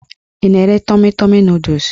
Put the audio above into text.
Ị na-ere tọmi tọmi nọdụs?